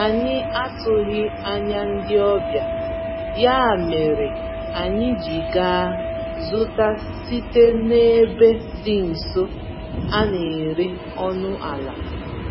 Anyị atụghị anya ndị ọbịa, ya mèrè anyị ji gaa zụta site n'ebe dị nso, a néré ọnụ àlà